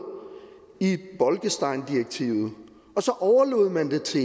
i bolkesteindirektivet og så overlod man det til